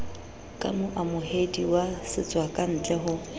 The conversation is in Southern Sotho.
ka moamohedi wa setswakantle ho